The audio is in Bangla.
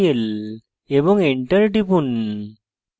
এবং enter টিপুন